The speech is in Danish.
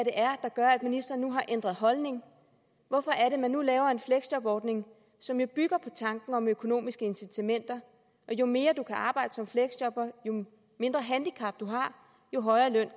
er der gør at ministeren nu har ændret holdning hvorfor er det at man nu laver en fleksjobordning som jo bygger på tanken om økonomiske incitamenter og jo mere man kan arbejde som fleksjobber jo mindre handicap man har jo højere løn